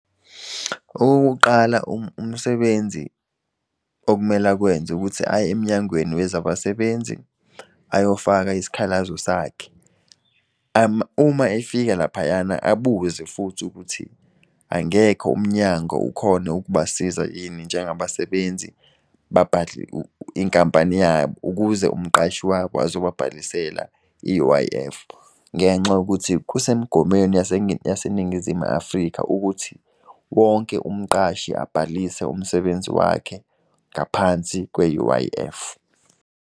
Okokuqala umsebenzi okumele akwenza ukuthi aye emnyangweni wezabasebenzi ayofaka isikhalazo sakhe. Uma efika laphayana abuze futhi ukuthi angekho umnyango ukhone ukubasiza yini njengabasebenzi inkampani yabo, ukuze umqashi wabo azobabhalisela i-U_I_F. Ngenxa yokuthi kusemgomweni yaseNingizimu Afrika ukuthi, wonke umqashi abhalise umsebenzi wakhe ngaphansi kwe-U_I_F.